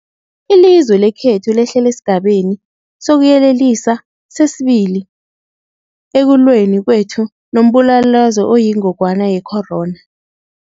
Ilizwe lekhethu lehlele esiGabeni sokuYelelisa sesi-2 ekulweni kwethu nombulalazwe oyingogwana ye-corona.